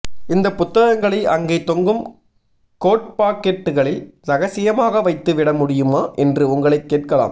இந்தப் புத்தகங்களை அங்கே தொங்கும் கோட் பாக்கெட்டுகளில் ரகசியமாக வைத்து விட முடியுமா என்று உங்களைக் கேட்கலாம்